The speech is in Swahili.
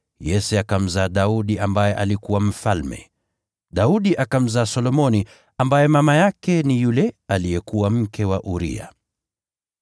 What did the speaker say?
Yese akamzaa Daudi ambaye alikuwa mfalme. Daudi akamzaa Solomoni, ambaye mama yake ni yule aliyekuwa mke wa Uria.